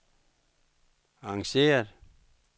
arrangeret